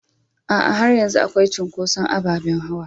A'a, har yanzu akwai cinkoso ababen hawa.